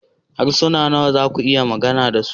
Harsuna nawa za ku iya magana da su?